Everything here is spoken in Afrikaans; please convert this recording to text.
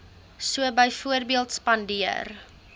so byvoorbeeld spandeer